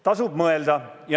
Tasub mõelda.